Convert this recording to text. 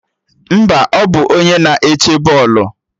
Mba, ọ bụ onye na-eche bọọlụ